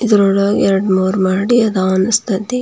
ಇದ್ರೊಳಗೆ ಎರಡು ಮೂರು ಮಾಡಿ ಇದೆ ಅನ್ಸ್ತಾಸ್ಟ್ --